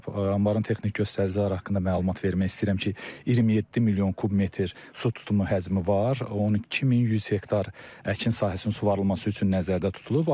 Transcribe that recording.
Anbarın texniki göstəriciləri haqqında məlumat vermək istəyirəm ki, 27 milyon kub metr su tutumu həcmi var, 12100 hektar əkin sahəsinin suvarılması üçün nəzərdə tutulub.